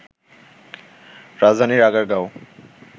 রাজধানীর আগারগাঁও